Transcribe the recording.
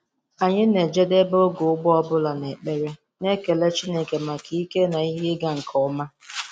Anyị na-ejedebe oge ugbo ọ bụla na ekpere, na-ekele Chineke maka ike na ihe ịga nke ọma.